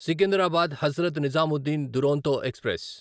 Secunderabad Hazrat Nizamuddin Duronto express